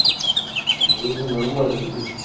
магазин нормальный бля